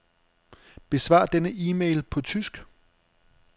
Besvar denne e-mail på tysk.